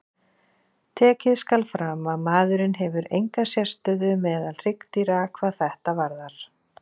Tekið skal fram að maðurinn hefur enga sérstöðu meðal hryggdýra hvað þetta varðar.